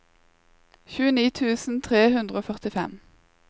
tjueni tusen tre hundre og førtifem